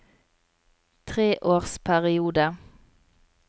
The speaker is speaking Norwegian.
treårsperiode